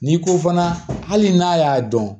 N'i ko fana hali n'a y'a dɔn